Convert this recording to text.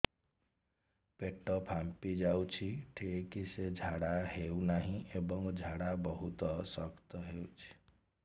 ପେଟ ଫାମ୍ପି ଯାଉଛି ଠିକ ସେ ଝାଡା ହେଉନାହିଁ ଏବଂ ଝାଡା ବହୁତ ଶକ୍ତ ହେଉଛି